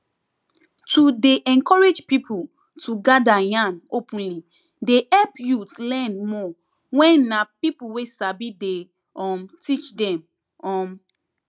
to dey encourage people to gather yarn openly dey help youth learn more wen na people wey sabi dey um teach them um